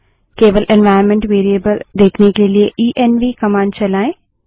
केवल environment variables देखने के लिए इएनवी कमांड चलायें